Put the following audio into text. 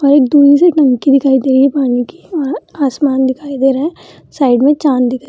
और एक दूरी से टंकी दिखाई दे रही पानी की और आसमान दिखाई दे रहा है साइड में चांद दिखाई --